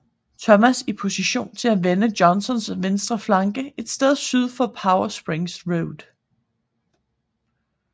Thomas i position til at vende Johnstons venstre flanke et sted syd for Powder Springs Road